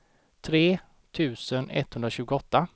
tre tusen etthundratjugoåtta